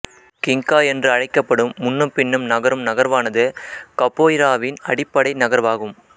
கிங்கா என்று அழைக்கப்படும் முன்னும் பின்னும் நகரும் நகர்வானது கபோய்ராவின் அடிப்படை நகர்வாகும்